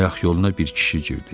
Ayaq yoluna bir kişi girdi.